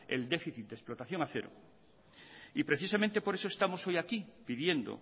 el déficit de explotación a cero y precisamente por eso estamos hoy aquí pidiendo